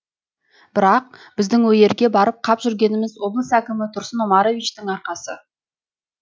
бірақ біздің ол жерге барып қап жүргеніміз облыс әкімі тұрсын омаровичтің арқасы